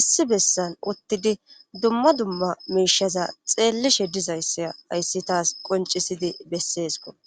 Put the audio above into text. issi bessan uttidi dumma dumma mishaza xeellishe dizayssa ayssi taas qoncisidi besseesko